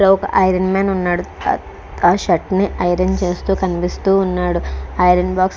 ఒక iron man ఉన్నాడు. ఆ షర్ట్ ని ఐరన్ చేస్తూ కనిపిస్తూ ఉన్నాడు. Iron box --